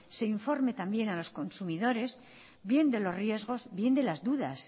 de informe también a los consumidores bien de los riesgos bien de las dudas